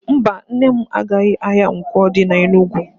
Mba, Nne m agaghị ahia Nkwo di na Enugwu.